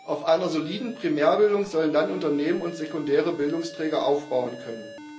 Auf einer soliden Primärbildung sollen dann Unternehmen und sekundäre Bildungsträger aufbauen können.